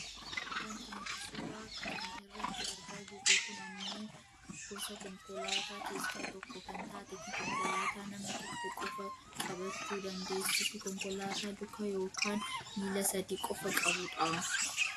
wanti nuti suuraa kana irratti argaa jirru kun ammoo gosa konkolaataa keessa tokko kan taate fi konkolaataa nama tokko qofa qabachuu dandeessuufi konkolaataa luka yookaan miila sadi qofa qabdu dha.